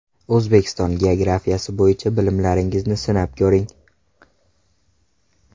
O‘zbekiston geografiyasi bo‘yicha bilimlaringizni sinab ko‘ring!.